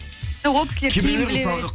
жоқ ол кісілер кейін біле береді